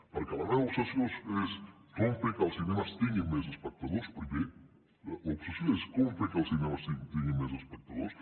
perquè la meva obsessió és com fer que els cinemes tinguin més espectadors primer l’obsessió és com fer que els cinemes tinguin més espectadors